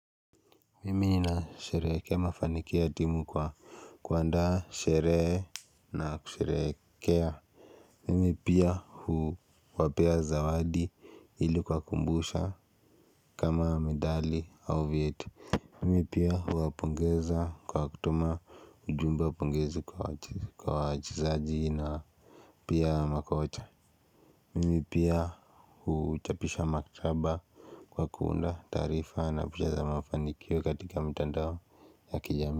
Mimi nasherehekea mafanikio ya timu kwa kuaanda sherehe na kusherehekea Mimi pia huwapea zawadi ili kuwakumbusha kama medali au vyeti. Mimi pia huwapongeza kwa kutuma ujumbe wa pongezi kwa wachezaji na pia makocha Mimi pia huchapisha maktaba kwa kuunda taarifa na picha za mafanikio katika mitandao ya kijamii.